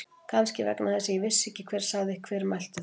Kannski vegna þess að ég vissi ekki hver sagði. hver mælti þau.